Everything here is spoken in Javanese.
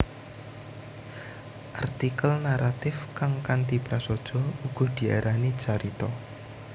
Artikel naratif kang kanthi prasaja uga diarani carita